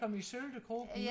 det kom i sølv krog